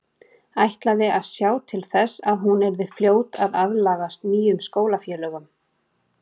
Ætlaði að sjá til þess að hún yrði fljót að aðlagast nýjum skólafélögum.